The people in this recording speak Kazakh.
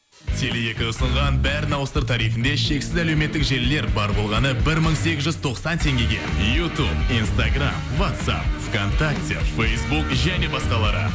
теле екі ұсынған бәрін ауыстыр тарифінде шексіз әлеуметтік желілер бар болғаны бір мың сегіз жүз тоқсан теңгеге ютуб инстаграм ватсап в контакте фейсбук және басқалары